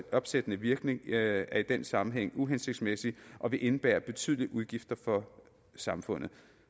opsættende virkning er i den sammenhæng uhensigtsmæssigt og vil indebære betydelige udgifter for samfundet